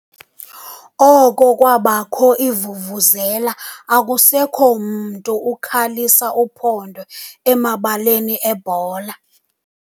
Oko kwabakho iivuvuzela akusekho mntu ukhalisa uphondo emabaleni ebhola.